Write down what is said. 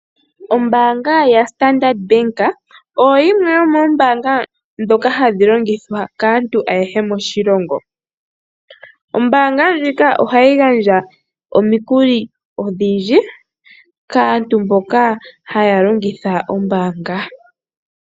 Ombanga ya standard bank oyo yimwe yo mombanga ndhoka hadhi longithwa kaantu ayehe moshilongo. Ombanga ndjika ohayi gandja omikuli odhindji kaantu mboka haya longitha ombanga.